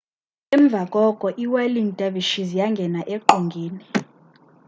emva koko iwhirling dervishes yangena eqongeni